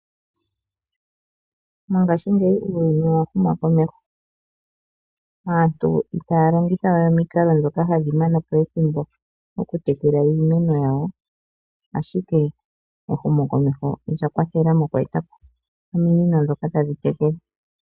Mongashi ngeyi uuyuni owahuma komeho, aantu ita longithawe omiinkalo dhoka hadhimanapo ethimbo oku tekela iimeno yawo ashike ehumo komeho olya kwatelamo ominino dhoka tadhitekele.